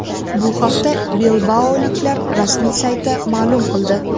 Bu haqda bilbaoliklar rasmiy sayti ma’lum qildi .